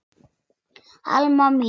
Alma mín.